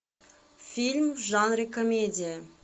фильм в жанре комедия